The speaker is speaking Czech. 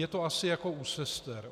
Je to asi jako u sester.